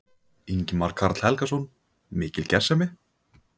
Ingimar Karl Helgason: Mikil gersemi?